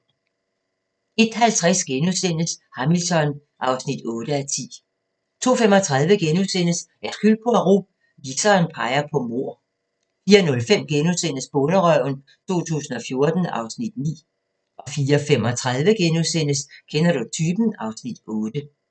01:50: Hamilton (8:10)* 02:35: Hercule Poirot: Viseren peger på mord * 04:05: Bonderøven 2014 (Afs. 9)* 04:35: Kender du typen? (Afs. 8)*